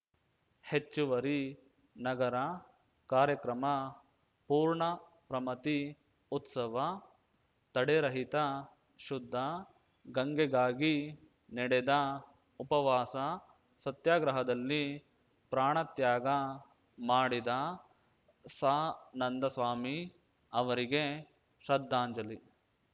ಹೆಚ್ಚುವರಿ ನಗರ ಕಾರ್ಯಕ್ರಮ ಪೂರ್ಣಪ್ರಮತಿ ಉತ್ಸವ ತಡೆರಹಿತ ಶುದ್ಧ ಗಂಗೆಗಾಗಿ ನಡೆದ ಉಪವಾಸ ಸತ್ಯಾಗ್ರಹದಲ್ಲಿ ಪ್ರಾಣತ್ಯಾಗ ಮಾಡಿದ ಸಾನಂದ ಸ್ವಾಮಿ ಅವರಿಗೆ ಶ್ರದ್ಧಾಂಜಲಿ